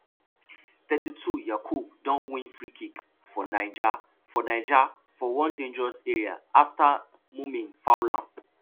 thirty-twoyakubu don win freekick for niger for niger for one dangerous area afta mumin foul am